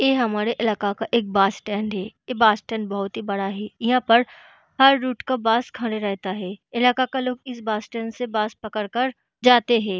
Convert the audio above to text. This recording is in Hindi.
ये हमारे इलाके का एक बस स्टैंड है। ये बस स्टैंड बोहोत ही बड़ा है। यहाँ पर हर रूट का बस खड़ा रहता है। इलाका का लोग इस बस स्टैंड से बस पकड़ कर जाते है।